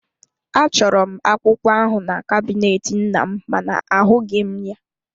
Achọrọ m akwụkwọ ahụ na kabinet nnam mana ahụghị m ya.